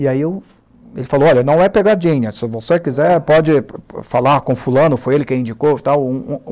E aí eu, ele falou, olha, não é pegadinha, se você quiser pode falar com fulano, foi ele quem indicou e tal.